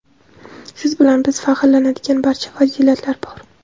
Siz bilan biz faxrlanadigan barcha fazilatlar bor.